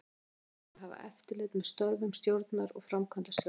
Hlutverk hennar er að hafa eftirlit með störfum stjórnar og framkvæmdastjóra.